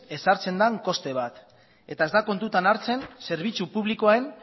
ezartzen den koste bat eta ez da kontutan hartzen zerbitzu publikoen